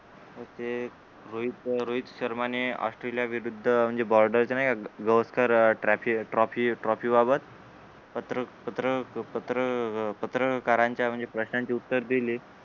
ते रोहित रोहित शंर्माने ऑस्ट्रेलिया विरुद्ध अं म्हणजे बॉर्डरच्या नाही का गावस्कर ट्राफी ट्रॉफी ट्रॉफीबाबत पत्र पत्र पत्र पत्रकारांच्या म्हणजे प्रश्नांची उत्तरे दिली